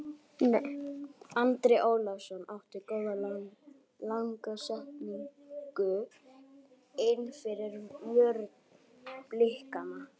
Andri Ólafsson átti góða langa sendingu innfyrir vörn Blikana.